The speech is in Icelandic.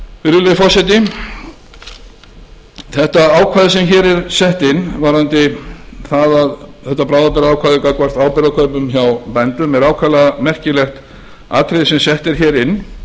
virðulegi forseti þetta ákvæði sem hér er sett inn varðandi þetta bráðabirgðaákvæði gagnvart áburðarkaupum hjá bændum er ákaflega merkilegt atriði sem sett er inn